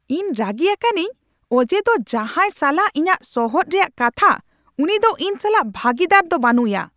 ᱤᱧ ᱨᱟᱹᱜᱤ ᱟᱠᱟᱱᱟᱹᱧ ᱚᱡᱮ ᱫᱚ ᱡᱟᱦᱟᱭ ᱥᱟᱞᱟᱜ ᱤᱧᱟᱹᱜ ᱥᱚᱦᱚᱫ ᱨᱮᱭᱟᱜ ᱠᱟᱛᱷᱟ ᱩᱱᱤ ᱫᱚ ᱤᱧ ᱥᱟᱞᱟᱜ ᱵᱷᱟᱹᱜᱤᱫᱟᱨ ᱫᱚ ᱵᱟᱹᱱᱩᱭᱟ ᱾